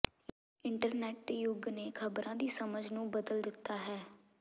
internet ਯੁੱਗ ਨੇ ਖਬਰਾਂ ਦੀ ਸਮਝ ਨੂੰ ਬਦਲ ਦਿੱਤਾ ਹੈ